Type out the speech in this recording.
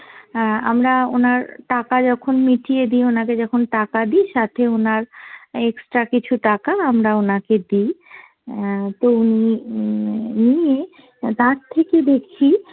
অ্যাঁ আমরা ওনার টাকা যখন মিটিয়ে দি, ওনাকে যখন টাকা দি সাথে ওনার extra কিছু টাকা আমরা ওনাকে দি। অ্যাঁ তো উনি উম নিয়ে তার থেকে দেখি